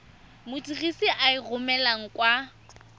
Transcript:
modirisi a e romelang kwa